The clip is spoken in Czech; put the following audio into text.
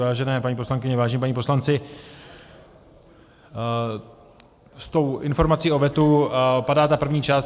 Vážené paní poslankyně, vážení páni poslanci, s tou informací o vetu padá ta první část.